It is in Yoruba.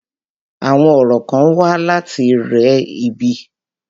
Àwọn orò kán wà láti re ibi.